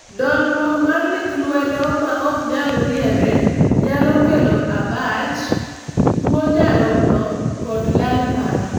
dolruok mar lith lwedo ma oknyal riere nyalo kelo abach, tuo nyarogno, kod lal paro